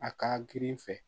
A ka girin fɛ